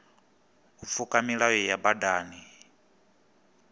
u pfuka milayo ya badani